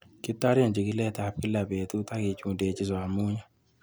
Kitoren chikiletab kila betut ak kichundechin somunyik